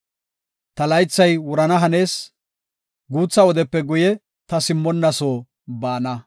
Ta laythay wurana hanees; guutha wodepe guye ta simmonna soo baana.